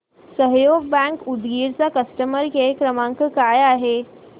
सहयोग बँक उदगीर चा customer care क्रमांक काय आहे